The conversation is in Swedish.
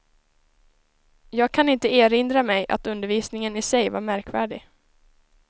Jag kan inte erinra mig att undervisningen i sig var märkvärdig.